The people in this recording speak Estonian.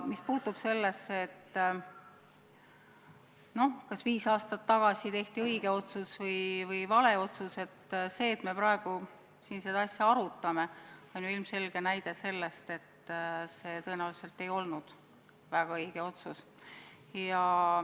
Mis puutub sellesse, kas viis aastat tagasi tehti õige otsus või vale otsus, siis see, et me praegu siin seda asja arutame, on ju ilmselge tõestus, et see tõenäoliselt ei olnud väga õige otsus.